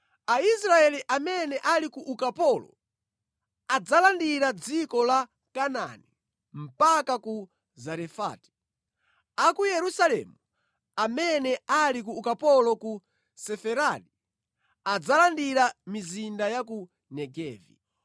Aisraeli amene ali ku ukapolo adzalandira dziko la Kanaani mpaka ku Zarefati; a ku Yerusalemu amene ali ku ukapolo ku Sefaradi adzalandira mizinda ya ku Negevi.